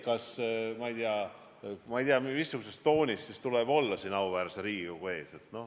Ma ei tea, missuguse tooniga tuleb siis esineda siin auväärse Riigikogu ees.